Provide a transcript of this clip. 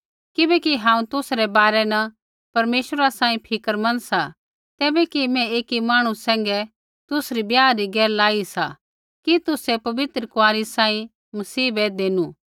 किबैकि हांऊँ तुसै रै बारै न परमेश्वरा सांही फ़िक्रमंद सा तैबै कि मैं ऐकी मांहणु सैंघै तुसरी ब्याह री गैल लाई सा कि तुसै पवित्र कुँआरी सांही मसीह बै देनु